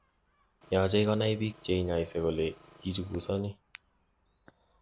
Yoche konai bik cheinyose kole kichukusoni